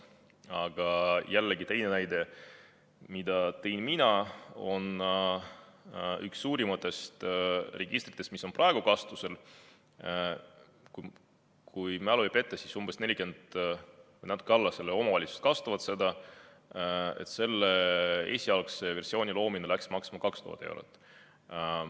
Aga jällegi teine näide, mille tõin mina, et üks suurimatest registritest, mis on praegu kasutusel, kui mälu ei peta, siis seda kasutab umbes 40 omavalitsust, selle esialgse versiooni loomine läks maksma 2000 eurot.